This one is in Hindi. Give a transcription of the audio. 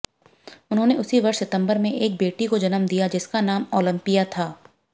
उन्होंने उसी वर्ष सितंबर में एक बेटी को जन्म दिया जिसका नाम ओलंपिया है